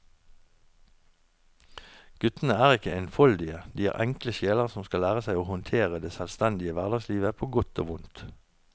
Guttene er ikke enfoldige, de er enkle sjeler som skal lære seg å håndtere det selvstendige hverdagslivet på godt og vondt.